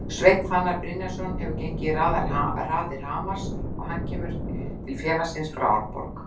Sveinn Fannar Brynjarsson hefur gengið í raðir Hamars en hann kemur til félagsins frá Árborg.